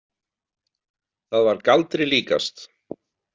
Það var galdri líkast.